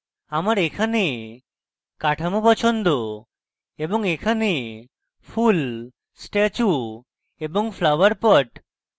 আমার এখানে কাঠামো পছন্দ এবং এখানে ফুল statue এবং flower pot